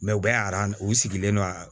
u bɛ u sigilen don a